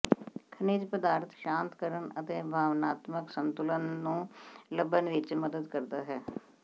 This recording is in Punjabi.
ਖਣਿਜ ਪਦਾਰਥ ਸ਼ਾਂਤ ਕਰਨ ਅਤੇ ਭਾਵਨਾਤਮਕ ਸੰਤੁਲਨ ਨੂੰ ਲੱਭਣ ਵਿੱਚ ਮਦਦ ਕਰਦਾ ਹੈ